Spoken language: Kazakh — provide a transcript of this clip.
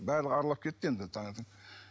барлығы аралап кетті енді таңертең